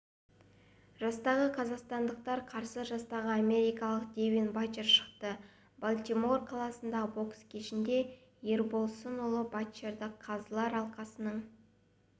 жастағы қазақстандыққа қарсы жастағы америкалық девин батчер шықты балтимор қаласындағы бокс кешінде ербосынұлы батчерді қазылар алқасының